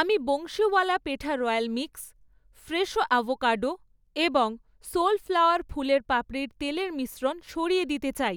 আমি Bansiwala petha royal mix, Fresho avocado এবং Soulflower ফুলের পাপড়ির তেলের মিশ্রণ সরিয়ে দিতে চাই,